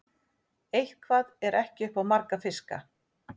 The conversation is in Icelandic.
Eitthvað er ekki upp á marga fiska